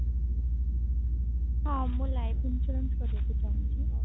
ହଁ ମୁଁ life insurance କରିବା ପାଇଁ ଚାହୁଁଛି